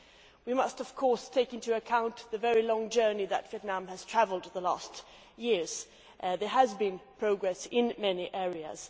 We must of course take into account the very long journey that Vietnam has travelled in the last few years. There has been progress in many areas.